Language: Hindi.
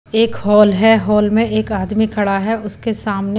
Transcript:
एक हॉल है हॉल में एक आदमी खड़ा है उसके सामने--